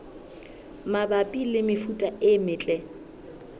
mabapi le mefuta e metle